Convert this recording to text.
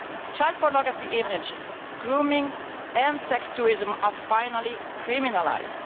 Child pornography images, grooming and sex tourism are finally criminalised.